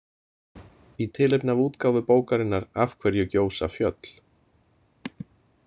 Í tilefni af útgáfu bókarinnar Af hverju gjósa fjöll?